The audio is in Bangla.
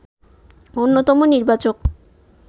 অন্যতম নির্বাচক